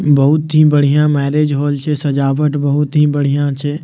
बहुत ही बढ़िया मैरेज हॉल छीये सजावट बहुत ही बढ़िया छै।